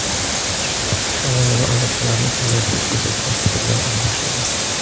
Ikki tomonlama aloqalarni kengaytirish yuzasidan fikrlar almashildi.